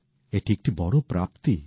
এটি একটি বড় প্রাপ্তি